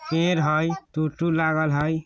पेड़ हई टुटु लागल हई।